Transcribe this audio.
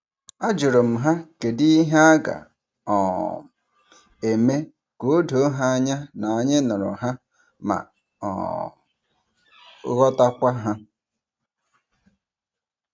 A jurum ha kedi ihe a ga- um eme ka odoo ha anya na anyi nuru ha ma um ghotakwa ha.